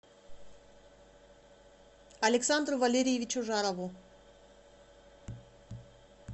александру валерьевичу жарову